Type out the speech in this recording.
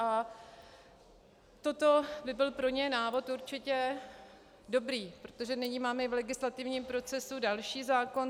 A toto by byl pro ně návod určitě dobrý, protože nyní máme i v legislativním procesu další zákon.